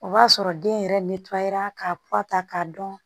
O b'a sɔrɔ den yɛrɛ ra k'a k'a dɔn